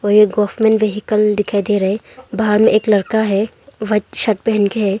ये government vehicle दिखाई दे रहा है बाहर में एक लड़का है वाइट शर्ट पहन के है।